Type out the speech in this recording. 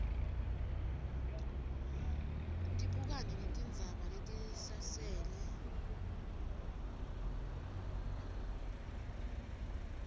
tibukane netindzaba letisasele